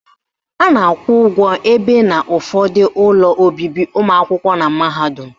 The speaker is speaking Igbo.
A na-akwụ ụgwọ ebi n'ụfọdụ ụlọ obibi ụmụakwụkwọ na mahadum.